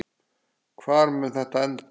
Hvar mun þetta enda?